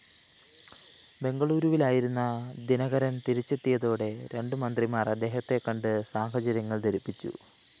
ബെംഗളൂരുവിലായിരുന്ന ദിനകരന്‍ തിരിച്ചെത്തിയതോടെ രണ്ടു മന്ത്രിമാര്‍ അദ്ദേഹത്തെക്കണ്ട് സാഹചര്യങ്ങള്‍ ധരിപ്പിച്ചു